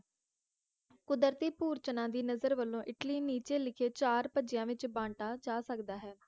ਕੁਦਰਤੀ ਭੁਰਚਨਾ ਦੀ ਨਜ਼ਰ ਵਲੋਂ ਇੱਟਲੀ ਨੀਚੇ ਲਿਖੇ ਚਾਰ ਭਜਿਆ ਵਿਚ ਬਾੰਟਾ ਜਾ ਸਕਦਾ ਹੈ